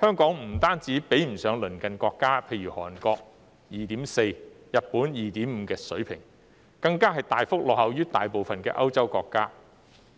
香港不單比不上鄰近國家，例如韓國 2.4、日本 2.5 的水平，更大幅落後於大部分歐洲國家。